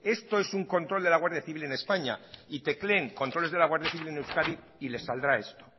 esto es un control de la guardia civil en españa y tecleen controles de la guardia civil en euskadi y les saldrá esto